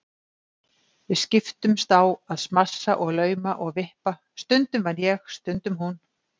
Við skiptumst á að smassa og lauma og vippa- stundum vann ég, stundum hún.